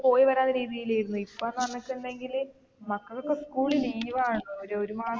പോയിവരാവുന്ന രീതിയിലിരുന്ന് ഇപ്പോന്ന് പറഞ്ഞിട്ടുണ്ടെല് മക്കള്ക്ക് ഒക്കെ school leave ണ്.